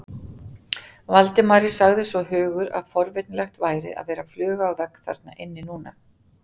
Valdimari sagði svo hugur að forvitnilegt væri að vera fluga á vegg þarna inni núna.